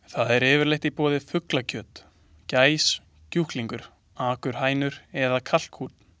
Þar er yfirleitt í boði fuglakjöt: gæs, kjúklingur, akurhænur eða kalkúnn.